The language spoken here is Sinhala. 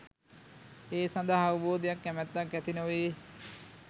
ඒ සඳහා අවබෝධයක් කැමැත්තක් ඇති නොවේ.